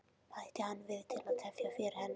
bætti hann við til að tefja fyrir henni.